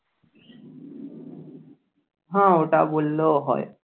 হ্যাঁ ওটা বললেও হয়।